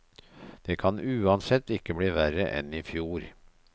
Det kan uansett ikke bli verre enn i fjor.